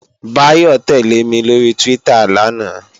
Báyọ̀ tẹ́lẹ̀ mi lóri Twitter lánàá